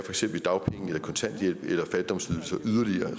eksempel dagpenge eller kontanthjælp eller fattigdomsydelser